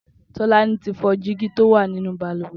Tolani ti fọ dìgí tó wà ninú bàlùwẹ̀